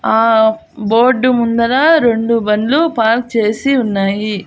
ఆ బోర్డు ముందర రెండు బండ్లు పార్క్ చేసి ఉన్నాయి.